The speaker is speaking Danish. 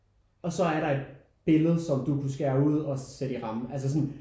Og så er der et billede som du kunne skære ud og sætte i ramme altså sådan